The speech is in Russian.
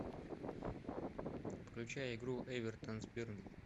включай игру эвертон с бернли